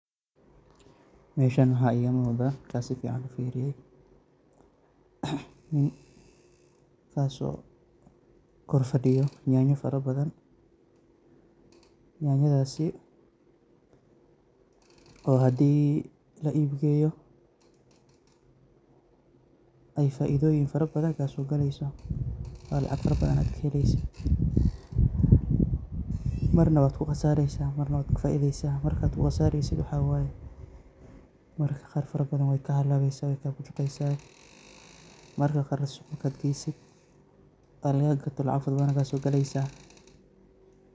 Meshan waxaa iga muqdaa markan sifiican ufiriyo, nin kaso korfadiyo nyanya farabathan, nyanyadasi, o hadii la ib geyoo, eey faidoyiin fara bathan kasogaleyso, aad lacaag fara bathan kaheleyso, mar nah waad ku qasareysaa mar nah waad kafaideysaa, markaad ku qasareysiid waxaa wayee marka qar fara bathan weey ka halaweysaa, weey ka bushuqeysaa, marka qarna marka suqaa geysiid o laga gato lacaag fara bathan ayaa kasogaleysaa.